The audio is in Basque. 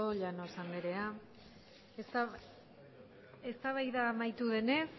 llanos andrea eztabaida amaitu denez